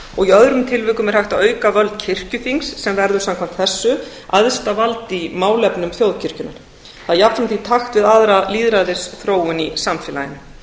og í öðrum tilvikum er hægt að auka völd kirkjuþings sem verður samkvæmt þessu æðsta vald í málefnum þjóðkirkjunnar það er jafnan í takt við aðra lýðræðisþróun í samfélaginu